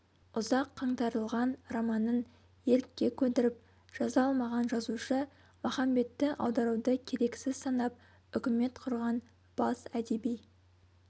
ұзақ қаңтарылған романын ерікке көндіріп жаза алмаған жазушы махамбетті аударуды керексіз санап үкімет құрған бас әдеби